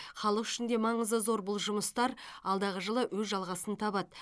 халық үшін де маңызы зор бұл жұмыстар алдағы жылы өз жалғасын табады